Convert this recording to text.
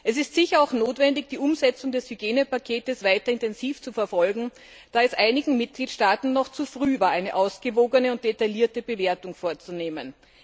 Es ist sicher auch notwendig, die Umsetzung des Hygienepakets weiter intensiv zu verfolgen, da es einigen Mitgliedstaaten noch zu früh war, eine ausgewogene und detaillierte Bewertung vorzunehmen.